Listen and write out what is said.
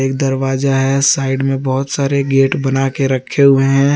दरवाजा है साइड में बहुत सारे गेट बनाके रखे हुए हैं।